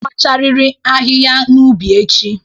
Ị ga-akpacharịrị ahịhịa n'ubi echi!